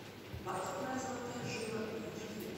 бархатная золотая жила эйч ди